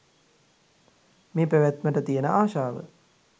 මේ පැවැත්මට තියෙන ආශාව